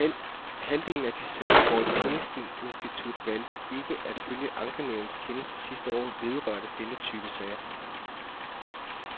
Halvdelen af de sager, hvor et pengeinstitut valgte ikke at følge ankenævnets kendelse sidste år, vedrørte denne type sager.